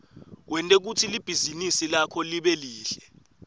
wente kutsi libhizinisi lakho libe lihle